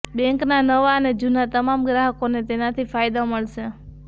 બેંકના નવા અને જૂના તમામ ગ્રાહકોને તેનાથી ફાયદો મળશે